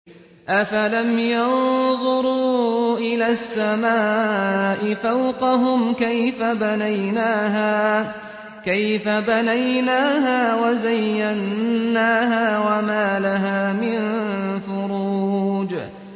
أَفَلَمْ يَنظُرُوا إِلَى السَّمَاءِ فَوْقَهُمْ كَيْفَ بَنَيْنَاهَا وَزَيَّنَّاهَا وَمَا لَهَا مِن فُرُوجٍ